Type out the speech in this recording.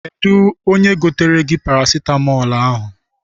Kedụ onye goteere gị parasitamọl ahụ?